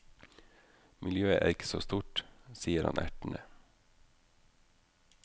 Miljøet er ikke så stort, sier han ertende.